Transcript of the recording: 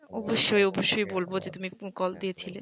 অবশ্যই অবশ্যই বলব যে তুমি call দিয়েছিলে।